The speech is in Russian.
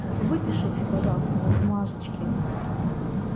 выпишите пожалуйста на бумажечке